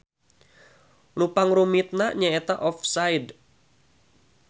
Nu pangrumitna nyaeta offside.